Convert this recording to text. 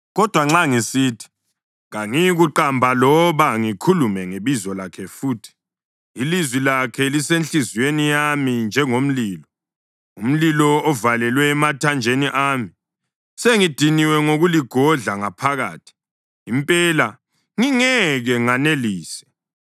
Kodwa nxa ngisithi, “Kangiyikumqamba loba ngikhulume ngebizo lakhe futhi,” ilizwi lakhe lisenhliziyweni yami njengomlilo, umlilo ovalelwe emathanjeni ami. Sengidiniwe ngokuligodla ngaphakathi; impela, ngingeke nganelise.